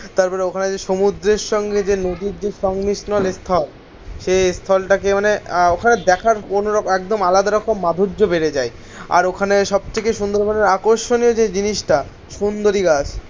তারপরে ওখানে সমুদ্রের সঙ্গে যে নদীর যে সংমিশ্রণের স্থল সেই স্থলটাকে মানে ওখানে দেখার কোনো একদম আলাদা রকম মাধুর্য বেড়ে যায়. আর ওখানে সব থেকে সুন্দরবনের আকর্ষণীয় যে জিনিসটা সুন্দরী গাছ.